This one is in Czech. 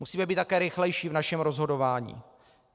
Musíme být také rychlejší v našem rozhodování.